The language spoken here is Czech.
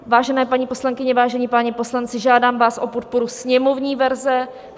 Vážené paní poslankyně, vážení páni poslanci, žádám vás o podporu sněmovní verze.